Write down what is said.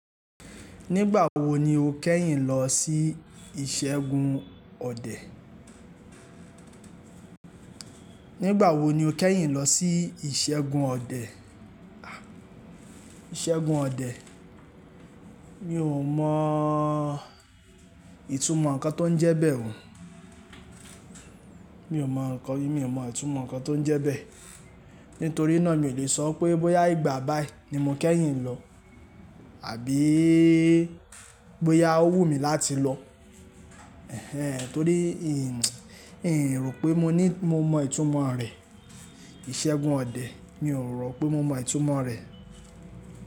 Nígbà wo ni o kẹ́yìn lọ sí ìṣẹ́gun ọdẹ? Nígbà wo ni o kẹ́yìn lọ sí ìṣẹ́gun ọdẹ? Ìṣẹ́gun ọdẹ. Mi ò mọ ìtumọ̀ ǹkan tó ń jẹ bẹ́ẹ̀ o. Mi ò mọ ǹkan, mi ò mọ ìtumọ̀ ǹkan tó ń jẹ bẹ́ẹ̀. Nítorí náà mi ò lè sọ pé bóyá ìgbà báyìí ní mo kẹ́yìn lọ àbí bóyá ó wù mí láti lọ. Ẹ̀hẹn, torí mi ro pé mo mọ ìtumọ̀ rẹ̀. Ìṣẹ́gun ọdẹ, mi ò rò pé mo mọ ìtumọ̀ rẹ̀